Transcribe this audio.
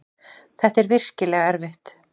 Þetta er virkilega erfitt.